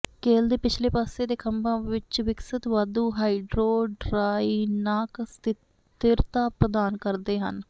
ਕੇਲ ਦੇ ਪਿਛਲੇ ਪਾਸੇ ਦੇ ਖੰਭਾਂ ਵਿਚ ਵਿਕਸਤ ਵਾਧੂ ਹਾਈਡਰੋਡਾਇਨਾਕ ਸਥਿਰਤਾ ਪ੍ਰਦਾਨ ਕਰਦੇ ਹਨ